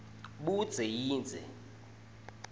budze yindze